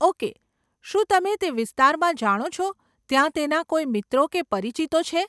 Okay, શું તમે તે વિસ્તારમાં જાણો છો ત્યાં તેના કોઈ મિત્રો કે પરિચિતો છે?